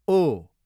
ओ